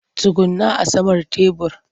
Tsugunna a saman tebur!